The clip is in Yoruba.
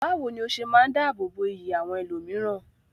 Bawo ni o se maa n dáàbò bo iyì àwọn ẹlòmíràn?